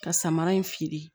Ka samara in feere